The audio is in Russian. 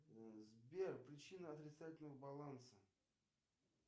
сбер причина отрицательного баланса